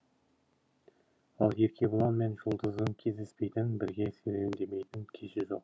ал еркебұлан мен жұлдыздың кездеспейтін бірге серуендемейтін кеші жоқ